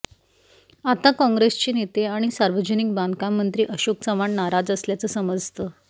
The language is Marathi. आता काँग्रेसचे नेते आणि सार्वजनिक बांधकाम मंत्री अशोक चव्हाण नाराज असल्याचं समजतं